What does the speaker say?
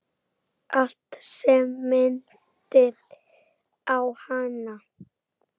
Allt sem minnti á hana.